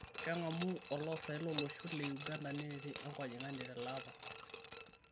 Keng'amu oloosaen lo losho le Uganda neeti enkojing'ani tele apa